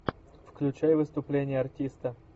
включай выступление артиста